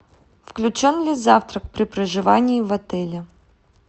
включен ли завтрак при проживании в отеле